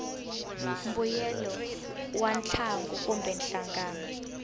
mbuyelo wa ntlangu kumbe nhlangano